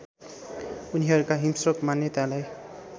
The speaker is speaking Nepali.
उनीहरूका हिंस्रक मान्यतालाई